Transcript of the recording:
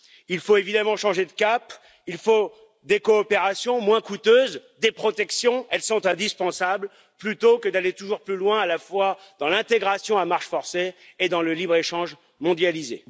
Il faut évidemment changer de cap, il faut des coopérations moins coûteuses, des protections elles sont indispensables plutôt que d'aller toujours plus loin, à la fois dans l'intégration à marche forcée et dans le libre échange mondialisé.